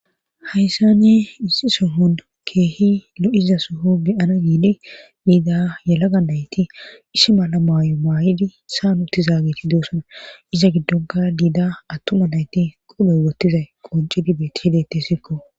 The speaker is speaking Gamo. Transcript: Hayssane issi sohon keehi lo'iza soho beyana giidi diida yalaga nayti issi mala maayo maayidi saan uttizaageti doosana iza giddonka diida attuma nayti qoloy wottizay qoncidi beti hedete sikko.